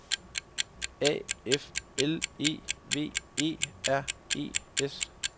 A F L E V E R E S